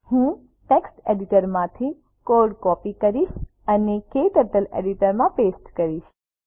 હું ટેક્સ્ટ એડિટરમાંથી code copy કરીશ અને ક્ટર્ટલ એડિટરમાં પેસ્ટ કરીશ